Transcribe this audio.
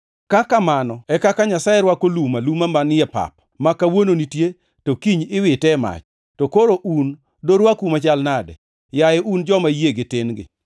Ka kamano e kaka Nyasaye rwako lum aluma manie pap, ma kawuono nitie to kiny iwite e mach, to koro un dorwaku, machal nade, yaye un joma yiegi tin-gi?